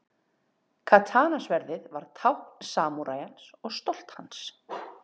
Katana-sverðið var tákn samúræjans og stolt hans.